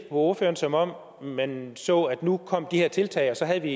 ordføreren som om man så det at nu kom de her tiltag og så har vi